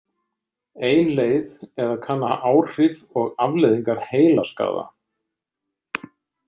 Ein leið er að kanna áhrif og afleiðingar heilaskaða.